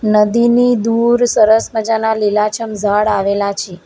નદી ની દૂર સરસ મજાના લીલાછમ ઝાડ આવેલા છે.